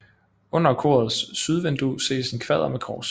Under korets sydvindue ses en kvader med kors